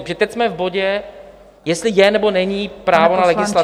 Protože teď jsme v bodě, jestli je, nebo není právo na legislativní nouzi.